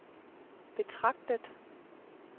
betragtet